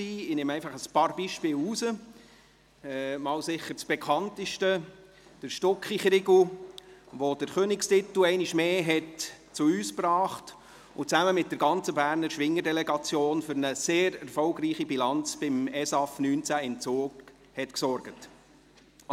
Ich greife einfach ein paar Beispiele heraus – sicher das bekannteste: der Stucki Chrigu, der einmal mehr den Königstitel zu uns gebracht hat und zusammen mit der ganzen Berner Schwingerdelegation für eine sehr erfolgreiche Bilanz am Eidgenössischen Schwing- und Älplerfest (ESAF) 2019 in Zug gesorgt hat.